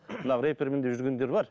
мынау рэпермін деп жүргендер бар